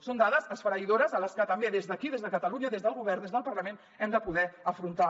són dades esfereïdores que també des d’aquí des de catalunya des del govern des del parlament hem de poder afrontar